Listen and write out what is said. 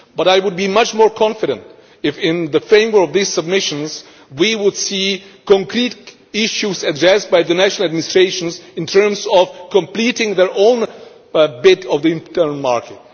But I would be much more confident if, in the framework of these submissions, we were to see concrete issues addressed by the national administrations in terms of completing their own bit of the internal market.